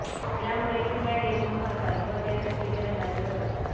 यामुळे पिठ्या ढेकुण मरतात व ते तपकिरी रंगाचे होतात